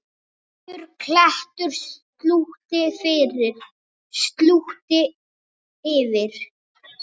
Svartur klettur slútti yfir.